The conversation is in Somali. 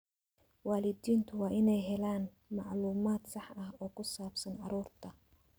Waalidiintu waa inay helaan macluumaad sax ah oo ku saabsan carruurta.